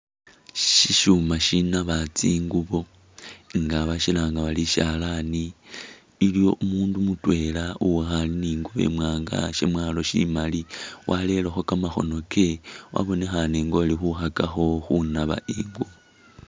Shishuuma shinaaba tsingubo nga bashilanga bari ishalani. iliyo umundu mutwela uwikhale ni ingubo imwanga shemwalo shimali warerekho kamakhono kewe wabonekhana nga uli khukhakakho khunaaba ingubo